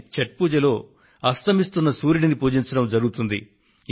కానీ ఛఠ్ పూజలో అస్తమిస్తున్న సూర్యుడిని పూజించడం జరుగుతుంది